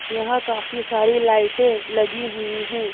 यहां काफी सारी लाइटें लगी हुई हैं।